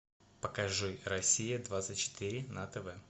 покажи россия двадцать четыре на тв